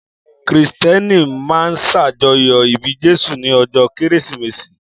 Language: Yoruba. Kìrìsìtẹ́nì máa ń ṣàjọyọ̀ ìbí Jésù ní ọjọ́ Kérésìmesì